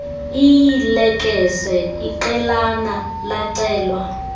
iilekese iqelana lacelwa